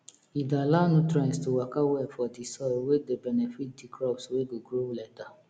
e dey allow nutrients to waka well for di soil wey dey benefit di crops wey go grow later